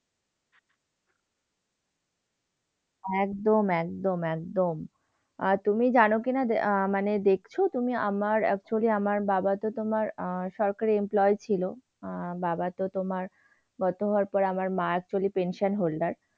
একদম, একদম, একদম। আর তুমি জানো কিনা? আহ মানে দেখছো তুমি আমার actually আমার বাবাতো তোমার আহ সরকারি employee ছিল। আহ বাবাতো তোমার গত হওয়ার পরে আমার মা actually pension holder